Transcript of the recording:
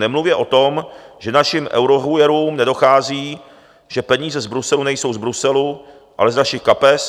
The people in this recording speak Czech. Nemluvě o tom, že našim eurohujerům nedochází, že peníze z Bruselu nejsou z Bruselu, ale z našich kapes.